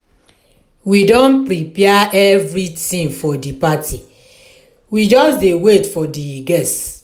we don prepare everything for the party we just dey wait for the guests